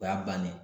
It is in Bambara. O y'a bannen